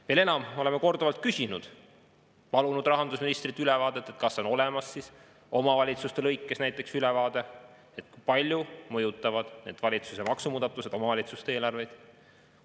Veel enam, me oleme korduvalt palunud rahandusministrilt ülevaadet selle kohta, kui palju mõjutavad valitsuse maksumuudatused omavalitsuste eelarveid.